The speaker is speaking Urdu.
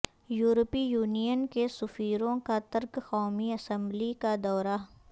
یورپی یونین کے سفیروں کا ترک قومی اسمبلی کا دورہ